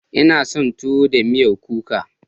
Ina son tuwo da miyan kuka.